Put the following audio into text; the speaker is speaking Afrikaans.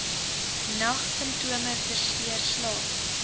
nagsimptome versteur slaap